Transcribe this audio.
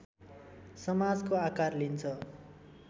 समाजको आकार लिन्छ